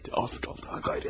Hadi, az qaldı ha, qeyrət!